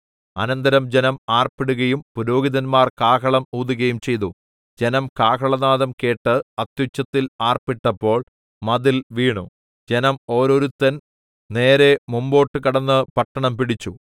അനന്തരം ജനം ആർപ്പിടുകയും പുരോഹിതന്മാർ കാഹളം ഊതുകയും ചെയ്തു ജനം കാഹളനാദം കേട്ട് അത്യുച്ചത്തിൽ ആർപ്പിട്ടപ്പോൾ മതിൽ വീണു ജനം ഓരോരുത്തൻ നേരെ മുമ്പോട്ട് കടന്ന് പട്ടണം പിടിച്ചു